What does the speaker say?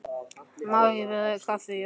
Má ekki bjóða þér kaffi, Jói?